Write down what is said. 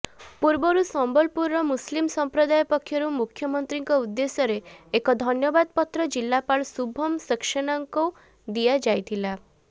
ପୂର୍ବରୁ ସମ୍ବଲପୁରର ମୁସଲିମ ସମ୍ପ୍ରଦାୟ ପକ୍ଷରୁ ମୁଖ୍ୟମନ୍ତ୍ରୀଙ୍କ ଉଦ୍ଦେଶ୍ୟରେ ଏକ ଧନ୍ୟବାଦ ପତ୍ର ଜିଲ୍ଲାପାଳ ଶୁଭମ ସାକ୍ସସେନାଙ୍କୁ ଦିଆଯାଇଥିଲା